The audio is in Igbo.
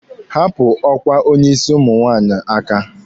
Hapụ ọkwa onye isi ụmụ nwaanyị aka!